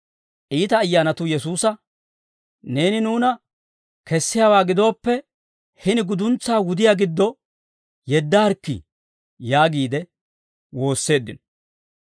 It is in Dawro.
Iita ayyaanatuu Yesuusa, «Neeni nuuna kessiyaawaa gidooppe, hini guduntsaa wudiyaa giddo yeddaarikkii» yaagiide woosseeddino.